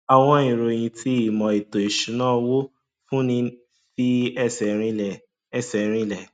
àwọn ìróyin tí ìmò ètò ìṣúná owó fún ní fi ẹsẹ rinlẹ ẹsẹ rinlẹ